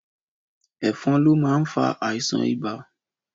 Ẹ̀fan lo máa ń fà àìsàn ibà